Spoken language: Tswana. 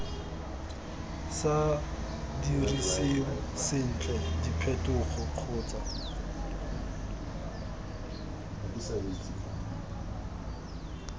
sa diriseng sentle diphetogo kgotsa